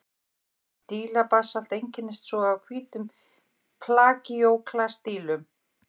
Dílabasalt einkennist svo af hvítum plagíóklas-dílum.